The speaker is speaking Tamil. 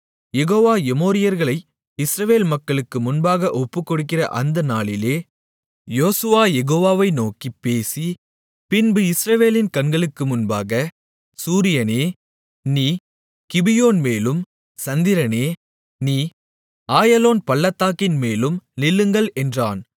யெகோவா எமோரியர்களை இஸ்ரவேல் மக்களுக்கு முன்பாக ஒப்புக்கொடுக்கிற அந்த நாளிலே யோசுவா யெகோவாவை நோக்கிப் பேசி பின்பு இஸ்ரவேலின் கண்களுக்கு முன்பாக சூரியனே நீ கிபியோன்மேலும் சந்திரனே நீ ஆயலோன் பள்ளத்தாக்கின்மேலும் நில்லுங்கள் என்றான்